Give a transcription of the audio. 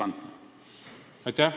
Aitäh!